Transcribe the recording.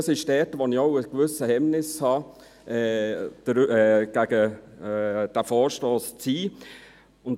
Hier habe ich auch gewisse Hemmungen, für diesen Vorstoss zu sein.